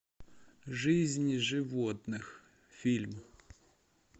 жизнь животных фильм